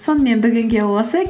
сонымен бүгінге осы